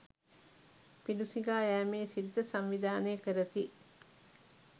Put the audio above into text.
පිඬු සිඟා යෑමේ සිරිත සංවිධානය කරති.